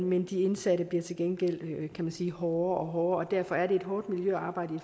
men de indsatte bliver til gengæld kan man sige hårdere og hårdere og derfor er fængslet et hårdt miljø at arbejde i